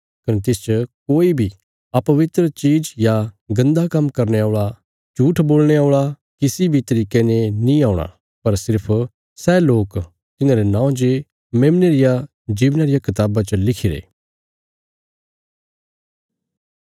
कने तिसच कोई बी अपवित्र चीज या गन्दा काम्म करने औल़ा झूट्ठ बोलणे औल़ा किसी बी तरिके ने नीं औणा पर सिर्फ सै लोक तिन्हांरे नौं जे मेमने रिया जीवना रिया कताबा च लिखिरे